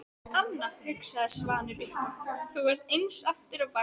Anna, hugsaði Svanur upphátt, þú ert eins aftur á bak.